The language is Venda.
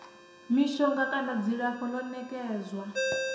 mishonga kana dzilafho ḽo nekedzwaho